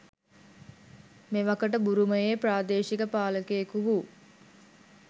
මෙවකට බුරුමයේ ප්‍රාදේශීක පාලකයෙකු වූ